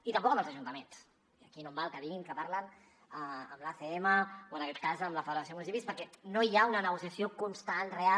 i tampoc amb els ajuntaments i aquí no em val que diguin que parlen amb l’acm o en aquest cas amb la federació de municipis perquè no hi ha una negociació constant real